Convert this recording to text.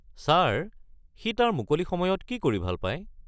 Sir, সি তাৰ মুকলি সময়ত কি কৰি ভাল পায়?